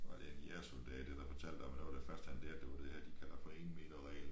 Var det en jægersoldat eller fortalte om at noget af det første han lærte det var det her de kalder for 1 meter reglen